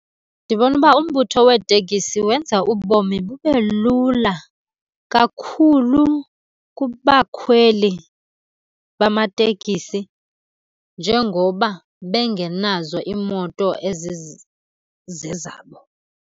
Ndibona uba umbutho weetekisi wenza ubomi bube lula kakhulu kubakhweli bamatekisi njengoba bengenazo iimoto ezizezabo.